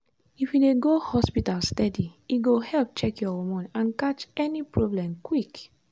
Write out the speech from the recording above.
if you dey go hospital steady e go help check your hormone and catch any problem quick.